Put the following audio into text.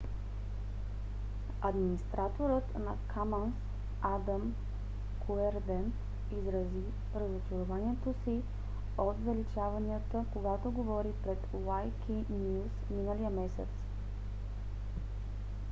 администраторът на commons адам куерден изрази разочарованието си от заличаванията когато говори пред wikinews миналия месец